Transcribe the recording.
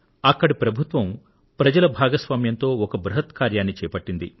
అక్కడి ప్రభుత్వం ప్రజల భాగస్వామ్యంతో ఒక బృహత్ కార్యాన్ని చేపట్టింది